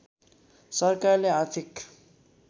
सरकारले आर्थिक